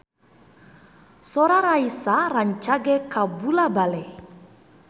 Sora Raisa rancage kabula-bale